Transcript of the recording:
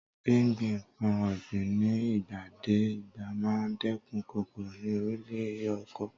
Gbíngbin nǹkan ọ̀gbìn ní ìgbà dé ìgbà máa ń dẹ́kun kòkòrò ní orí ilẹ̀ oko.